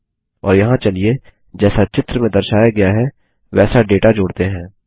और यहाँ चलिए जैसा चित्र में दर्शाया गया है वैसा डेटा जोड़ते हैं